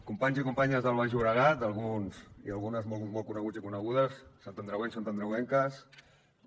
companys i companyes del baix llobregat alguns i algunes molt coneguts i conegudes santandreuencs santandreuenques lídia